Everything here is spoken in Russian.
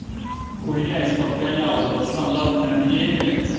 хуйня из под коня вот это стандартное мнение